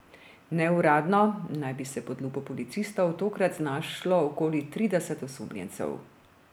Neuradno naj bi se pod lupo policistov tokrat znašlo okoli trideset osumljencev.